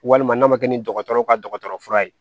Walima n'a ma kɛ ni dɔgɔtɔrɔw ka dɔgɔtɔrɔ fura ye